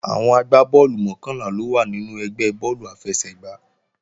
Àwọn agbá bọ́ọ̀lù mọ́kànlá ló wà nínú ẹgbẹ́ bọ́ọ̀lù àfẹsẹ̀gbá